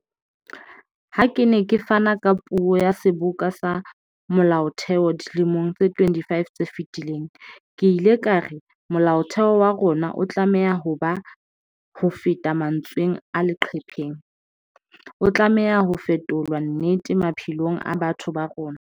Ha ke ne ke fana ka puo ya Seboka sa Molaotheo dilemong tse 25 tse fetileng, ke ile ka re Molaotheo wa rona o tlameha ho ba hofeta mantsweng a leqhepeng, o tlameha ho fetolwa nnete maphelong a batho ba rona.